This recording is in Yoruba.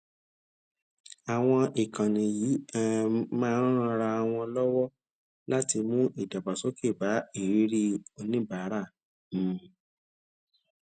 àwọn ìkànnì yìí um máa ń ran wọn lọwọ láti mú ìdàgbàsókè bá ìrírí oníbáàrá um